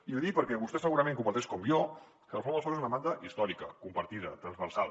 i l’hi dic perquè vostè segurament comparteix com jo que la reforma del soc és una demanda històrica compartida transversal